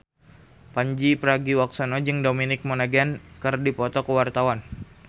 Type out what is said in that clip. Pandji Pragiwaksono jeung Dominic Monaghan keur dipoto ku wartawan